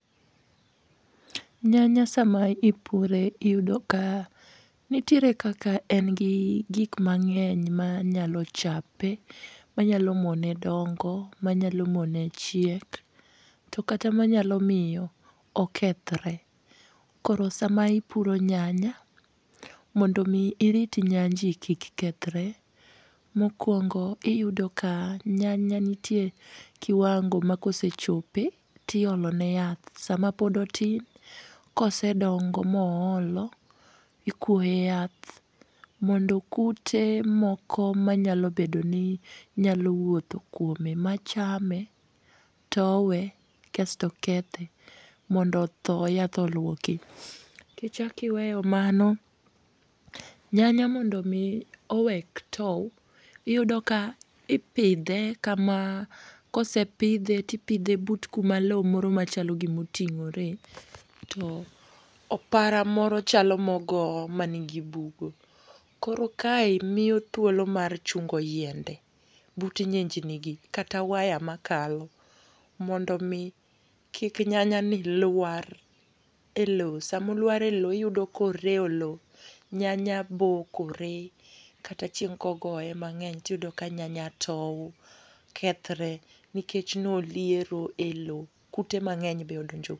Nyanya sama ipure, iyudo ka nitiere kaka en gi gik mang'eny manyalo chape, manyalo mone dongo, manyalo mone chiek. to kata manyalo miyo okethore. Koro sama ipuro nyanya, mondo omi irit nyanji kik kethore, mokwongo iyudo ka nyanya nitie kiwango ma kosechope, tiolo ne yath. Sama pod otin, kosedongo ma oolo, ikwoye yath, mondo kute moko manyalo bedo ni nyalo wuotho kuome machame, towe, kasto kethe. Mondo otho yath olwoki. Kichak iweyo mano, nyanya mondo omi owek tow, iyudo ka ipidhe kama, kosepidhe, tipidhe but kama lowo moro machalo gima oting'ore. To opara moro chalo ma ogo manigi bugo. Koro kae miyo thuolo mar chungo yiende. But nyinjni gi, kata waya makalo. Mondo omi kik nyanya ni lwar e lowo. Sama olwar e lowo iyudo ka orewo lowo. Nyanya bokore. Kata chieng' kogoye mang'eny, tiyudo ka nyanya tow, kethore, nikech ne oliero e lowo. Kute mang; eny be odonjo.